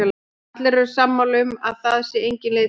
Allir eru sammála um að það sé engin leið til baka.